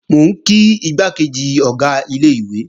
Mò ń kí igbákejì Ọ̀gá ilé-ìwé